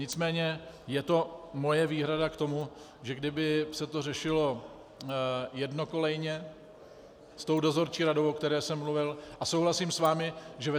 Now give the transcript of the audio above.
Nicméně je to moje výhrada k tomu, že kdyby se to řešilo jednokolejně s tou dozorčí radou, o které jsem mluvil, a souhlasím s vámi, že ve